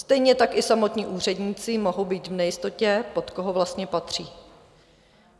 Stejně tak i samotní úředníci mohou být v nejistotě, pod koho vlastně patří.